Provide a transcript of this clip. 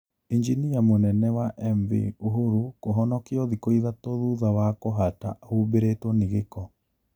Injinia mũnene wa MV Uhuru kũhonokio thikũ ithatũ thutha wa kũhata ahubĩrĩtwo ni gĩko